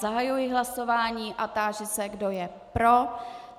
Zahajuji hlasování a táži se, kdo je pro.